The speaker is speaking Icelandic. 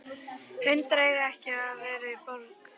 Hundar eiga ekki að vera í borg.